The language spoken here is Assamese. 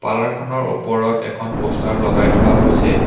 পাৰ্লাৰ খনৰ ওপৰত এখন প'ষ্টাৰ লগাই থোৱা হৈছে।